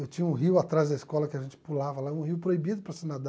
Eu tinha um rio atrás da escola que a gente pulava lá, um rio proibido para se nadar.